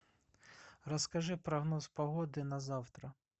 расскажи прогноз погоды на завтра